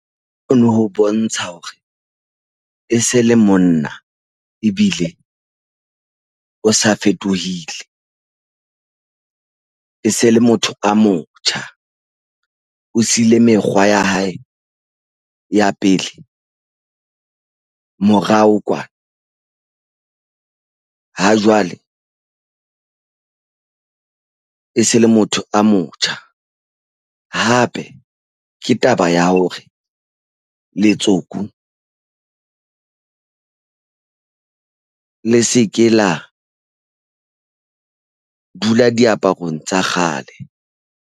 O no ho bontsha hore e se le monna. Ebile o sa fetohile e se le motho a motjha. O siile mekgwa ya hae ya pele morao kwana. Ha jwale e se le motho a motjha. Hape ke taba ya hore letsoku le seke la dula diaparong tsa kgale.